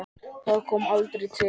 Það kom aldrei til.